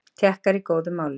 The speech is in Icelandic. Tékkar í góðum málum